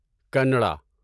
کنڈا